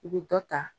I bɛ dɔ ta